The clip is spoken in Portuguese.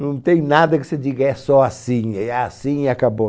Não tem nada que você diga, é só assim, é assim e acabou.